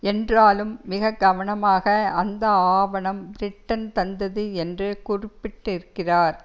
என்றாலும் மிக கவனமாக அந்த ஆவணம் பிரிட்டன் தந்தது என்று குறிப்பிட்டிருக்கிறார்